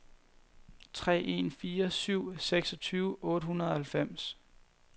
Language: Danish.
tre en fire syv seksogtyve otte hundrede og halvfems